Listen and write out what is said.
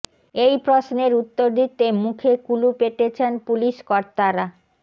এই প্রশ্নের উত্তর দিতে মুখে কুলুপ এঁটেছেন পুলিশ কর্তারা